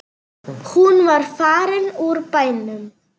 Hún var farin úr bænum.